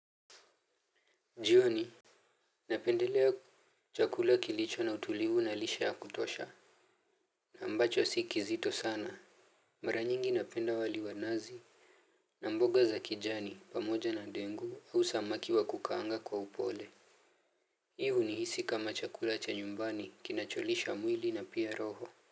Jioni. Napendelea chakula kilicho na utulivu na lishe ya kutosha. Na ambacho si kizito sana. Mara nyingi napenda wali wa nazi. Na mboga za kijani pamoja na dengu au samaki wa kukaanga kwa upole I hunihisi kama chakula cha nyumbani kinacholisha mwili na pia roho.